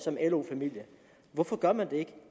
hvorfor gør man det ikke